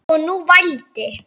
Og nú vældi